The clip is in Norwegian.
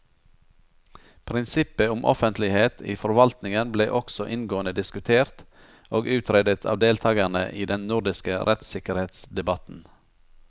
Prinsippet om offentlighet i forvaltningen ble også inngående diskutert og utredet av deltakerne i den nordiske rettssikkerhetsdebatten.